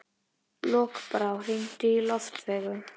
Lokbrá, hringdu í Loftveigu.